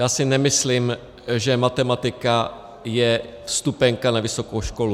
Já si nemyslím, že matematika je vstupenka na vysokou školu.